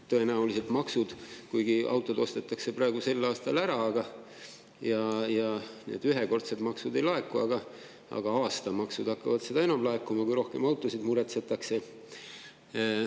Tõenäoliselt on nii, et kuigi autod ostetakse sel aastal ära ja need ühekordsed maksud ei laeku, aga aastamaksud hakkavad seda enam laekuma, kui rohkem autosid muretsetakse.